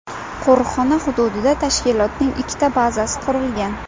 Qo‘riqxona hududida tashkilotning ikkita bazasi qurilgan.